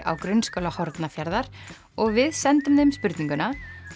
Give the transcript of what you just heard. á Grunnskóla Hornafjarðar og við sendum þeim spurninguna